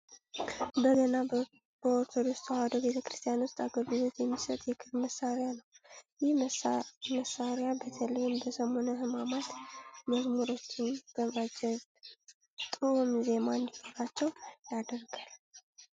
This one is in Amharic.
በገና በኦርቶዶክስ ተዋሕዶ ቤተክርስቲያን ውስጥ አገልግሎት የሚሰጥ የክር መሳሪያ ነው። ይህ መሳሪ በተለይ በሰሙነ ህማማት መዝሙሮችን በማጀብ ጥኡም ዜማ እንዲኖራቸው ያደርጋል።